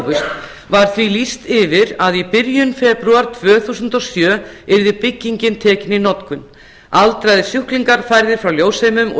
hófust var því lýst yfir að í byrjun febrúar tvö þúsund og sjö yrði byggingin tekin í notkun aldraðir sjúklingar færðir frá ljósheimum og